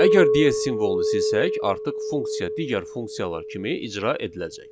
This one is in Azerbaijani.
Əgər DS simvolunu silsək, artıq funksiya digər funksiyalar kimi icra ediləcək.